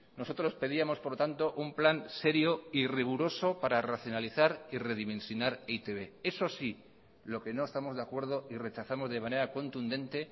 nosotros pedíamos por lo tanto un plan serio y riguroso para racionalizar y redimensionar e i te be eso sí lo que no estamos de acuerdo y rechazamos de manera contundente